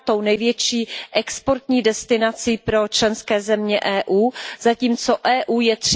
9. největší exportní destinací pro členské země EU, zatímco EU je